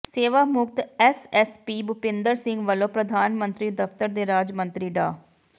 ਸੇਵਾ ਮੁਕਤ ਐਸਐਸਪੀ ਭੁਪੇਂਦਰ ਸਿੰਘ ਵੱਲੋਂ ਪ੍ਰਧਾਨ ਮੰਤਰੀ ਦਫਤਰ ਦੇ ਰਾਜ ਮੰਤਰੀ ਡਾ